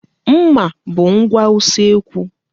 Nmà bụ ngwa usekwu.